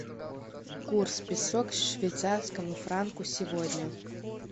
курс песо к швейцарскому франку сегодня